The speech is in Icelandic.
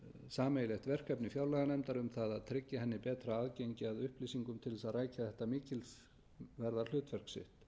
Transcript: sameiginlegt verkefni fjárlaganefndar um það að tryggja henni betra aðgengi að upplýsingum til þess að rækja þetta mikilsverða hlutverk sitt við